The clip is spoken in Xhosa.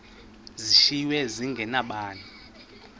zishiywe zinge nabani